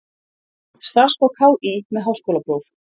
Starfsfólk HÍ með háskólapróf.